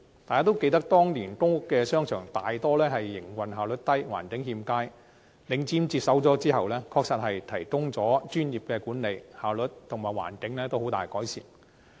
大家都記得當年公屋商場大多數營運效率低、環境欠佳，領展接管後，確實提供了專業管理，效率及環境均大為改善。